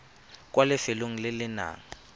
kwa lefelong le le nang